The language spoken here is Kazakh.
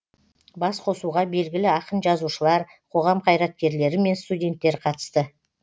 басқосуға белгілі ақын жазушылар қоғам қайраткерлері мен студенттер қатысты